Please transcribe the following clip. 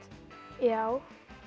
já